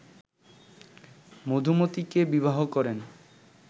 মধুমতীকে বিবাহ করেন